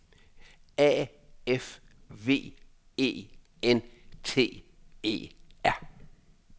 A F V E N T E R